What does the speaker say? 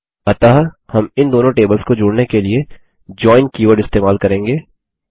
अतः हम इन दोनों टेबल्स को जोड़ने के लिए जोइन कीवर्ड इस्तेमाल करेंगे